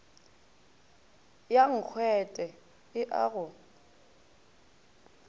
ya nkgwete e a go